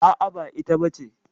A'a, ba ita bace.